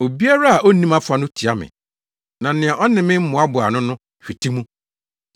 “Obiara a onni mʼafa no tia me, na nea ɔne me mmoaboa ano no, hwete mu.